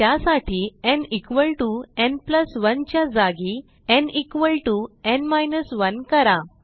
त्यासाठी nn 1 च्या जागी nn 1 करा